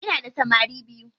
Ina da samari biyu.